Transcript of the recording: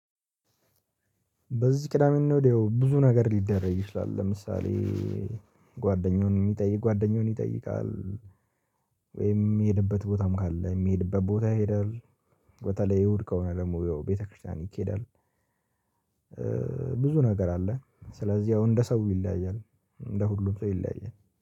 በዚህ ቅዳሜ እና እሁድ ብዙ ነገር ሊደረግ ይችላል ለምሳሌ ጓደኛውን የሚጠይቅ ጓደኛውን ይጠይቃል። ወይም የሚሄድበት ቦታም ካለ የሚሄድበት ቦታ ይሄዳል። በተለይ እሁድ ከሆነ ደግሞ ወይ ቤተክርስቲያን ይኬዳል። ብዙ ነገር አለ ስለዚህ አሁን እንደ ሰው ይለያያል። እንደ ሁሉም ሰው ይለያያል